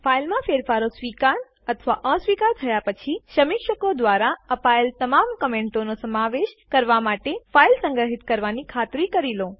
ફાઈલમાં ફેરફારો સ્વીકાર અથવા અસ્વીકાર થયા પછી સમીક્ષકો દ્વારા અપાયેલ તમામ કમેન્ટો નો સમાવેશ કરવા માટે ફાઈલ સંગ્રહિત કરવાની ખાતરી કરી લો